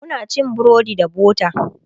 Muna cin burodi da butter